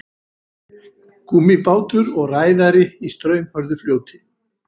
gúmmíbátur og ræðari í straumhörðu fljóti